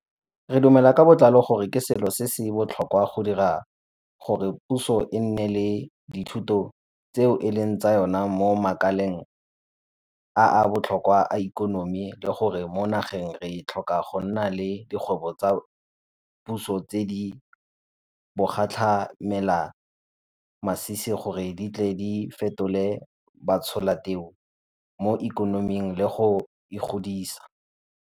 Re dumela ka botlalo gore ke selo se se botlhokwa go dira gore puso e nne le dithoto tseo e leng tsa yona mo makaleng a a botlhokwa a ikonomi le gore mo nageng re tlhoka go nna le dikgwebo tsa puso tse di bogatlhamelamasisi gore di tle di fetole batsholateu mo ikonoming le go e godisa.